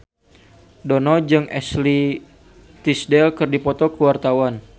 Dono jeung Ashley Tisdale keur dipoto ku wartawan